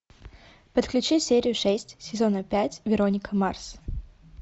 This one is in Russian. подключи серию шесть сезона пять вероника марс